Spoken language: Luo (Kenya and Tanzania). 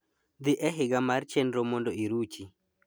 dhi e higa mar chenro mondo iruchi